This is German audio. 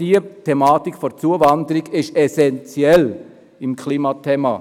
Die Thematik der Zuwanderung ist essentiell, wenn es ums Klima geht.